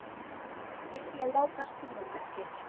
Vilja láta strjúka sér.